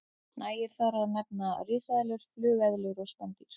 Nægir þar að nefna risaeðlur, flugeðlur og spendýr.